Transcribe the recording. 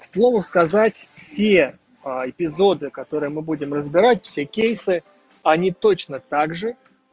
к слову сказать все эпизоды которые мы будем разбирать все кейсы они точно также